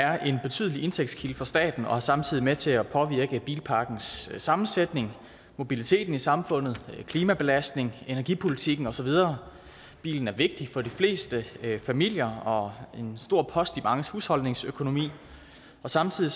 er en betydelig indtægtskilde for staten og er samtidig med til at påvirke bilparkens sammensætning mobiliteten i samfundet klimabelastningen energipolitikken og så videre bilen er vigtig for de fleste familier og en stor post i manges husholdningsøkonomi samtidig